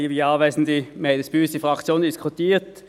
Wir haben dies bei uns in der Fraktion diskutiert.